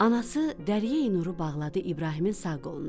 Anası dəryəyi nuru bağladı İbrahimin sağ qoluna.